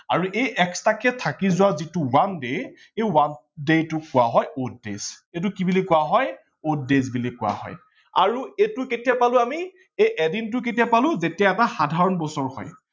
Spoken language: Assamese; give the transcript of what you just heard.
আৰু extra কে থাকি যোৱা যিটো one day সেই one day টোক কোৱা হয় odd days এইটো কি বুলি কোৱা হয় odd days বুলি কোৱা হয় আৰু এইটো কেতিয়া পালো আমি এই এদিনটো কেতিয়া পালো আমি যেতিয়া এটা সাধাৰন বছৰ হয়।